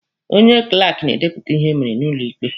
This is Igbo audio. Onye klaaki na-edepụta ihe e mere n'ụlọ ikpe.